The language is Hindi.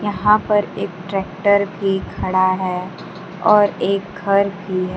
यहां पर एक ट्रैक्टर भी खड़ा है और एक घर भी है।